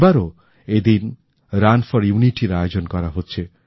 এবারও এদিন run for unity র আয়োজন করা হচ্ছে